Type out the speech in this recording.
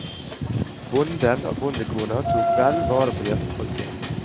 Bonden og bondekona tok vel vare på gjestefolket.